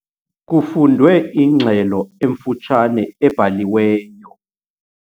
Kufundwe ingxelo emfutshane ebhaliweyo.